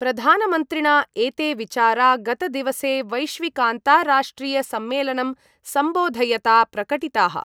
प्रधानमन्त्रिणा एते विचारा गतदिवसे वैश्विकान्ताराष्ट्रियसम्मेलनं सम्बोधयता प्रकटिताः।